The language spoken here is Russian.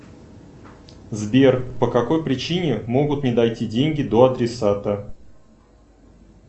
сбер по какой причине могут не дойти деньги до адресата